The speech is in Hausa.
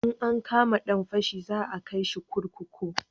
In an kama dan fashi za a kai shi kurkuku